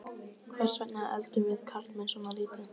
Hvers vegna eldum við karlmenn svona lítið?